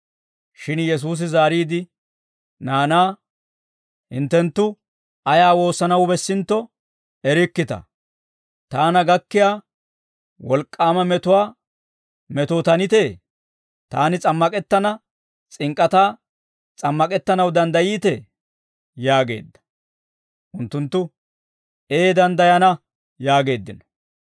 Shin Yesuusi zaariide naanaa, «Hinttenttu ayaa woossanaw bessintto erikkita. Taana gakkiyaa wolk'k'aama metuwaa metootanitee? Taani s'ammak'ettana s'ink'k'ataa s'ammak'ettanaw danddayiitee?» yaageedda. Unttunttu, «Ee danddayana» yaageeddino.